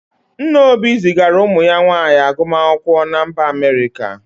Nna Obi zigara ụmụ ya nwaanyị agụmakwụkwọ na mba Amerịka.